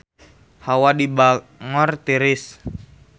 Hawa di Bangor tiris